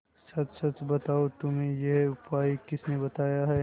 सच सच बताओ तुम्हें यह उपाय किसने बताया है